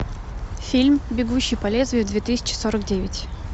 фильм бегущий по лезвию две тысячи сорок девять